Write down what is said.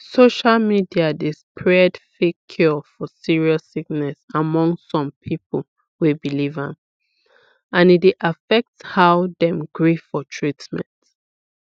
social media d spread fake cure for serious sickness among some people wey believe am and e dey affect how dem gree for treatment